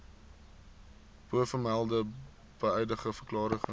bovermelde beëdigde verklarings